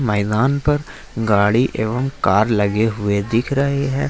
मैदान पर गाड़ी एवं कार लगे हुए दिख रहे हैं।